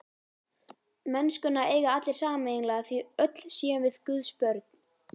Mennskuna eigi allir sameiginlega því öll séum við Guðs börn.